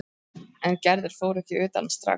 En Gerður fór ekki utan strax.